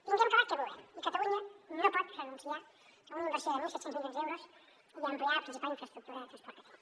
tinguem clar que volem i catalunya no pot renunciar a una inversió de mil set cents milions d’euros i a ampliar la principal infraestructura de transport que tenim